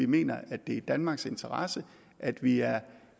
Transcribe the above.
mener at det er i danmarks interesse at vi er